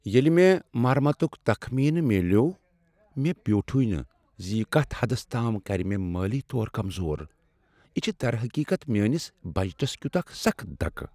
ییٚلہ مےٚ مرمتک تخمینہٕ میلیوٚو، مےٚ بیوٗٹھٕے نہٕ ز یہ کتھ حدس تام کر مےٚ مٲلی طور کمزور۔ یہ چھ درحقیقت میٲنس بجٹس کیُت اکھ سخت دکہ۔